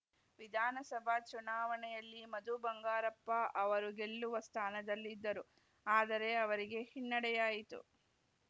ವಿಧಾನಸಭಾ ಚುನಾವಣೆಯಲ್ಲಿ ಮಧುಬಂಗಾರಪ್ಪ ಅವರು ಗೆಲ್ಲುವ ಸ್ಥಾನದಲ್ಲಿದ್ದರು ಆದರೆ ಅವರಿಗೆ ಹಿನ್ನಡೆಯಾಯಿತು